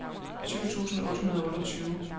tyve tusind otte hundrede og otteogtyve